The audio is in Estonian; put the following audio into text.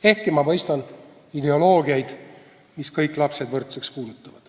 Ehkki ma mõistan ideoloogiaid, mis kõik lapsed võrdseks kuulutavad.